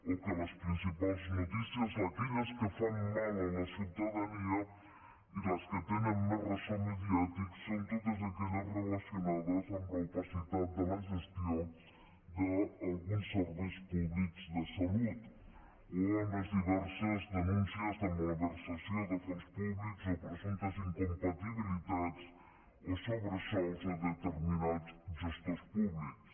o que les principals notícies aquelles que fan mal a la ciutadania i les que tenen més ressò mediàtic són totes aquelles relacionades amb l’opacitat de la gestió d’alguns serveis públics de salut o amb les diverses denúncies de malversació de fons públics o presumptes incompatibilitats o sobresous a determinats gestors públics